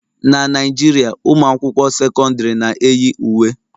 Na Naijiria, ụmụ akwụkwọ sekọndrị na-eyi uwe.